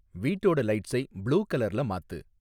வீட்டோட லைட்ஸை ப்ளூ கலர்ல மாத்து